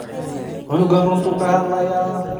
Cunugan runta ayu kahadhlaya.